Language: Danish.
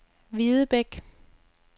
Videbæk